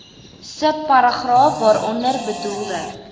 subparagraaf waaronder bedoelde